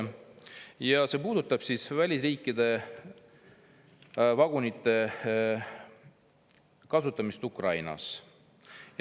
See arupärimine puudutab välisriikide vagunite kasutamist Ukrainas.